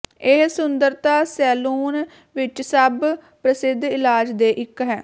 ਇਹ ਸੁੰਦਰਤਾ ਸੈਲੂਨ ਵਿੱਚ ਸਭ ਪ੍ਰਸਿੱਧ ਇਲਾਜ ਦੇ ਇੱਕ ਹੈ